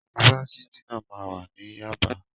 Yunifásitì náà máa wà ní Yábàá.